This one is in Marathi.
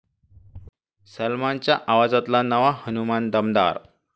सलमानच्या आवाजातला नवा हनुमान 'दमदार'